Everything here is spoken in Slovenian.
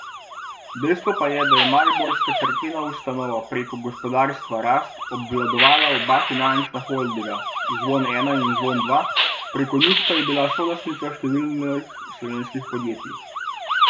Dejstvo pa je, da je mariborska cerkvena ustanova preko Gospodarstva Rast obvladovala oba finančna holdinga Zvon Ena in Zvon Dva, preko njih pa je bila solastnica številnih slovenskih podjetij.